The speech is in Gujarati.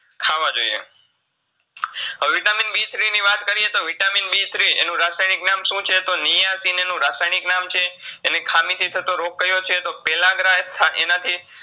ખાવા જોઈએ. વે Vitamin B three ની વાત કરીએ તો Vitamin B three એનું રાસાયનીક નામ શું છે તો niacin એનું રાસાયનીક નામ છે, એની ખામી થી થતો રોગ કયો છે તો એનાથી